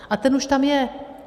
A ten už tam je.